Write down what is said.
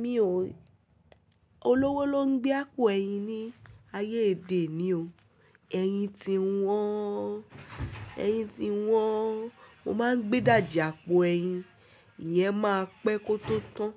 Mi ò, olówó ló ń gbé àpò ẹyin ní ayé èdè oni o. Eyin ti wọ́n, eyin ti wọ́n, mo máa ń gbé dàjà àpò ẹyin, ìyẹn máa pẹ́ kó tó tán.